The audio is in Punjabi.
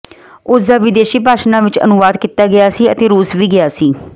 ਉਸ ਦਾ ਵਿਦੇਸ਼ੀ ਭਾਸ਼ਾਵਾਂ ਵਿਚ ਅਨੁਵਾਦ ਕੀਤਾ ਗਿਆ ਸੀ ਅਤੇ ਰੂਸ ਵੀ ਗਿਆ ਸੀ